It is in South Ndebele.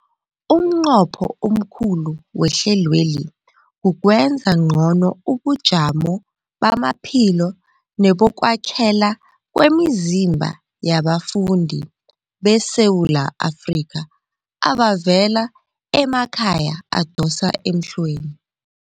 Umnqopho omkhulu wehlelweli kukwenza ngcono ubujamo bamaphilo nebokwakhela kwemizimba yabafundi beSewula Afrika abavela emakhaya adosa emhlweni.